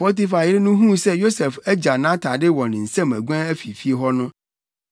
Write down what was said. Potifar yere no huu sɛ Yosef agyaw nʼatade wɔ ne nsam aguan afi fie hɔ no,